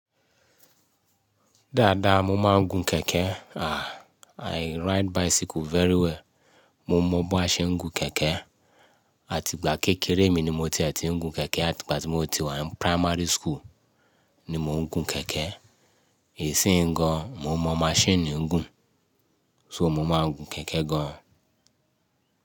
Dáadáa mo máa ń gun kẹ̀kẹ́. Ah, I ride bicycle very well. Mo mọ bi a ṣe ń gun kẹ̀kẹ́. Àti ìgbà kékeré mi ni mo ti ẹ̀ ti ń gun kẹ̀kẹ́. Àti ìgbà tí mo ti wà ní primary school ni mò ń gun kẹ̀kẹ́. Isìn yí gan, mo mọ machine ń gùn. So mo máa ń gun kẹ̀kẹ́ gan.